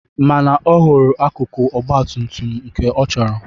Mana ọ hụrụ akụkụ ọgbatumtum nke ọ chọrọ.